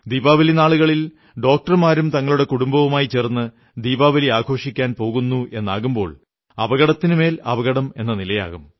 ദീപാവലി നാളുകളിൽ ഡോക്ടർമാരും തങ്ങളുടെ കുടുംബവുമായി ചേർന്ന് ദീപാവലി ആഘോഷിക്കാൻ പോകുന്നുവെന്നാകുമ്പോൾ അപകടത്തിനുമേൽ അപകടം എന്ന നിലയാകും